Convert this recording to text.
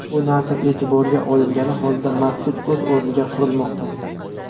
Bu narsa e’tiborga olingani holda, masjid o‘z o‘rniga qurilmoqda”.